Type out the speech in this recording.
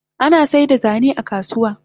Ana saida zane a kasuwa